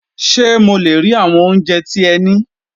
Sé mo le rí àwọn oúnjẹ tí ẹ ní?